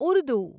Urdu